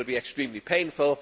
It will be extremely painful.